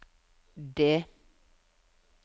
D